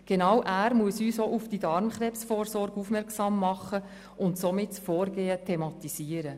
Genau er muss uns auch auf die Darmkrebsvorsorge aufmerksam machen und somit das Vorgehen thematisieren.